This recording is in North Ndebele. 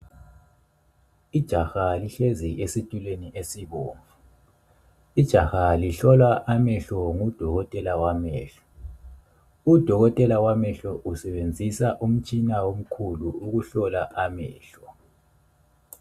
Ijaha lihlezi esitulweni esibomvu. Ijaha lihlolwa amehlo ngudokotela wamehlo. Udokotela wamehlo usebenzisa umtshina omkhulu ukuhlola amehlo.